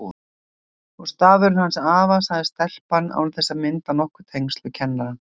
Og stafurinn hans afa, sagði stelpan án þess að mynda nokkur tengsl við kennarann.